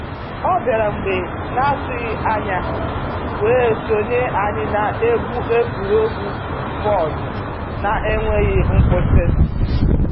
ọ bịara mgbe n'atụghị anya wee sonye anyị na-egwu egwuregwu bọọdụ n'enweghị nkwụsị.